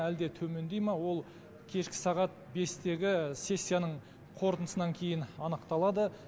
әлде төмендей ма ол кешкі сағат бестегі сессияның қорытындысынан кейін анықталады